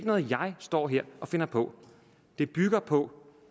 noget jeg står her og finder på det bygger på